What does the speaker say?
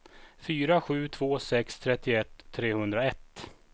fyra sju två sex trettioett trehundraett